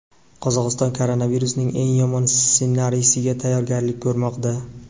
Qozog‘iston koronavirusning eng yomon ssenariysiga tayyorgarlik ko‘rmoqda.